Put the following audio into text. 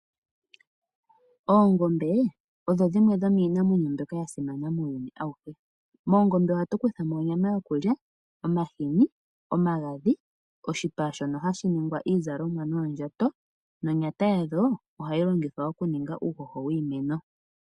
Oongombe odho dimwe dhomiinamwenyo mbyoka ya simana muuyuni awuhe. Moongombe ohatu kuthamo onyama yokulya, omahini, omagadhi, oshipa shono hashi ningwa iizalomwa noondjato, nonyata yadho ohayi longithwa oku ninga uuhoho wiimeno.